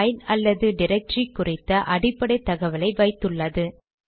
file அல்லது directory குறித்த அடிப்படை தகவலை வைத்துள்ளது